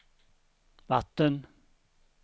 vatten